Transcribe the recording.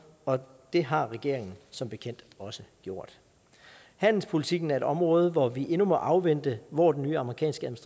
og det har regeringen som bekendt også gjort handelspolitikken er et område hvor vi endnu må afvente hvor den nye amerikanske